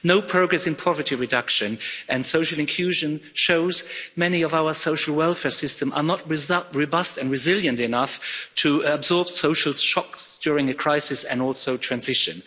No progress in poverty reduction and social inclusion shows that many of our social welfare systems are not robust and resilient enough to absorb social shocks during a crisis and also transition.